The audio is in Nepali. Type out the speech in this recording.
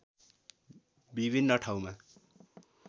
विभिन्न ठाउँमा